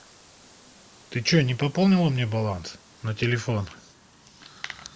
ты чего не пополнила мне баланс на телефон